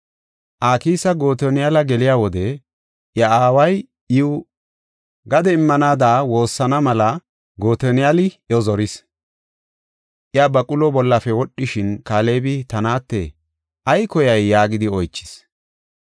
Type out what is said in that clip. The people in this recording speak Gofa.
Aksa Gotoniyala geliya wode, I aaway iw gade immanaada woossana mela Gotoniyali iyo zoris. Iya baqulo bollafe wodhishin Kaalebi ta naatte, “Ay koyay?” yaagidi oychis.